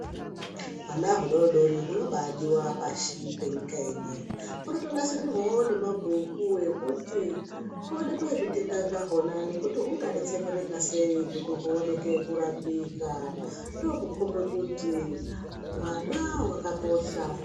Hwana hudodori hunobadiwa pashi penyika ino hunotonasirirwawo nemabhuku ekuti huonekwe zvitenda zvahona nekuti hinga deketsereka sei kuti huoneke kurapika ndokukombe kuti vana vakakosha.